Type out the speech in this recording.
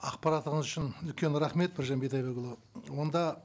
ақпаратыңыз үшін үлкен рахмет біржан бидайбекұлы онда